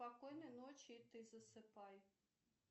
спокойной ночи и ты засыпай